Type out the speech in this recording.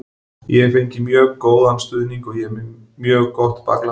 Ég hef fengið mjög góðan stuðning og ég er með mjög gott bakland.